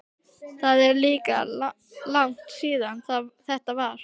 Það er líka langt síðan þetta var.